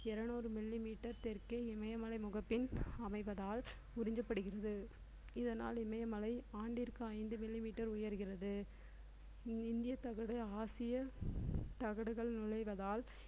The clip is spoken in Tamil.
இருநூறு millimeter தெற்கே இமயமலை முகப்பின் அமைவதால் உறிஞ்சப்படுகிறது இதனால் இமயமலை, ஆண்டிற்கு ஐந்து millimeter உயர்கிறது இந்திய தகடு ஆசிய தகடுகள் நுழைவதால்